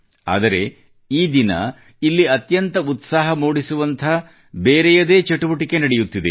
ಆದರೆ ಈ ದಿನ ಇಲ್ಲಿ ಅತ್ಯಂತ ಉತ್ಸಾಹ ಮೂಡಿಸುವಂಥ ಬೇರೆಯದೇ ಚಟುವಟಿಕೆ ನಡೆಯುತ್ತಿದೆ